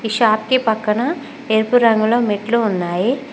Shop కి పక్కన ఎరుపు రంగులో మెట్లు ఉన్నాయి.